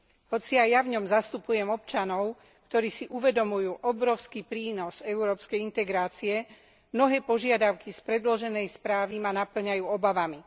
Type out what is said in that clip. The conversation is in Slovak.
Hoci aj ja v ňom zastupujem občanov, ktorí si uvedomujú obrovský prínos európskej integrácie, mnohé požiadavky z predloženej správy ma napĺňajú obavami.